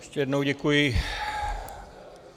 Ještě jednou děkuji.